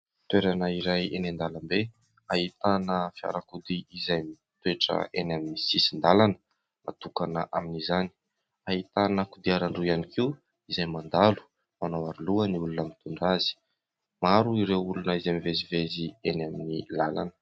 Toerana iray eny an-dalambe ahitana fiarakody izay mitoetra eny amin'ny sisin-dalana natokana amin'izany. Ahitana kodiarandroa ihany koa izay mandalo, manao Aro loha ny olona mitondra azy, maro ireo olona izay mivezivezy eny amin'ny lalana.